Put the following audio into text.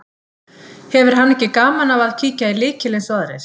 Hefur hann ekki gaman af að kíkja í lykil eins og aðrir.